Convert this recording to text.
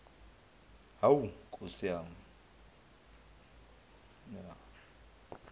hawu nkosi yami